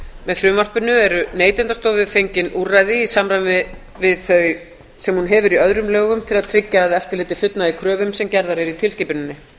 með frumvarpinu er neytendastofu fengin úrræði í samræmi við þau sem hún hefur í öðrum lögum til að tryggja að eftirlitið fullnægi kröfum sem gerðar eru í tilskipuninni